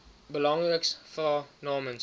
belangriks vra namens